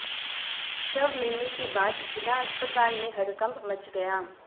शव मिलने के बाद जिला अस्पताल में हड़कंप मच गया